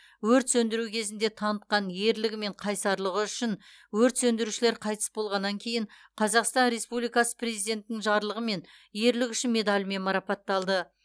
өрт сөндіру кезінде танытқан ерлігі мен қайсарлығы үшін өрт сөндірушілер қайтыс болғаннан кейін қазақстан республикасы президентінің жарлығымен ерлігі үшін медалімен марапатталды